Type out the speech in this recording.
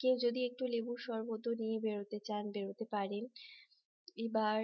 কেউ যদি একটু লেবুর শরবত নিয়ে বেরোতে চান বেরোতে পারেন এবার